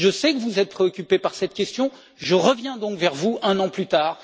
Je sais que vous êtes préoccupée par cette question, je reviens donc vers vous un an plus tard.